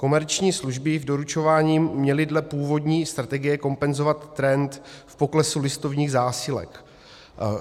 Komerční služby v doručování měly dle původní strategie kompenzovat trend v poklesu listovních zásilek.